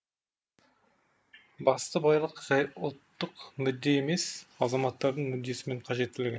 басты байлық жай ұлттық мүдде емес азаматтардың мүддесі мен қажеттілігі